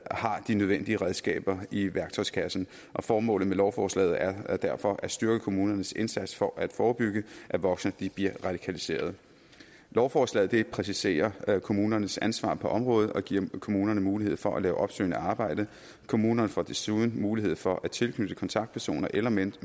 har de nødvendige redskaber i værktøjskassen og formålet med lovforslaget er derfor at styrke kommunernes indsats for at forebygge at voksne bliver radikaliseret lovforslaget præciserer kommunernes ansvar på området og giver kommunerne mulighed for at lave opsøgende arbejde kommunerne får desuden mulighed for at tilknytte en kontaktperson eller mentor